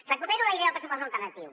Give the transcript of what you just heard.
recupero la idea del pressupost alternatiu